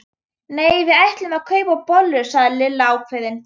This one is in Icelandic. Nei, við ætlum að kaupa bollur sagði Lilla ákveðin.